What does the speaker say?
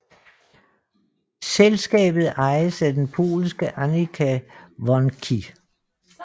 Selskabet ejes af den polske Amica Wronki